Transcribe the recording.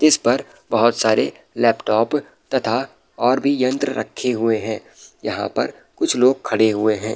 जिस पर बहोत सारे लैपटॉप तथा और भी यंत्र रखे हुए हैं यहाँ पर कुछ और भी लोग खड़े हुए हैं।